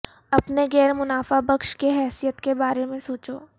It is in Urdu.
اپنے غیر منافع بخش کی حیثیت کے بارے میں سوچو